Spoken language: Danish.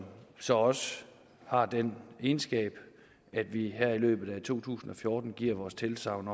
så også har den egenskab at vi her i løbet af to tusind og fjorten giver vores tilsagn